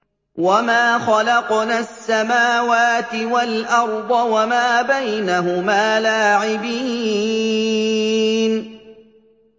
وَمَا خَلَقْنَا السَّمَاوَاتِ وَالْأَرْضَ وَمَا بَيْنَهُمَا لَاعِبِينَ